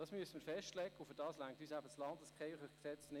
Das müssen wir festlegen, und dazu reicht das LKG nicht.